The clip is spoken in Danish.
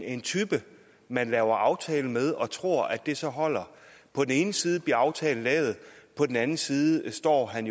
en type man laver en aftale med og tror at det så holder på den ene side bliver aftalen lavet på den anden side står han